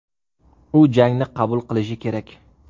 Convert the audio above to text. U jangni qabul qilishi kerak.